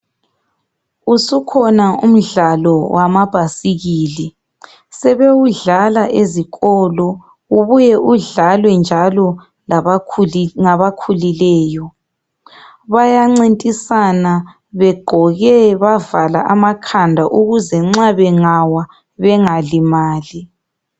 usukhona umdlalo wamabhasikili sebewudlala ezikolo ubue udlalwe njalo ngabakhulileyo bayancintisana begqoke bavala amakhanda ukuze nxa bengawa bengalimali